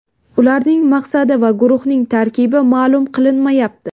Ularning maqsadi va guruhning tarkibi ma’lum qilinmayapti.